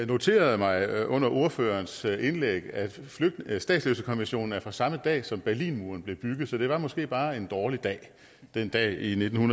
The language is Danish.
noterede mig under ordførerens indlæg at at statsløsekonventionen er fra samme dag som berlinmuren blev bygget så det var måske bare en dårlig dag den dag i nitten